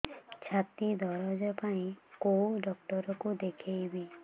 ଛାତି ଦରଜ ପାଇଁ କୋଉ ଡକ୍ଟର କୁ ଦେଖେଇବି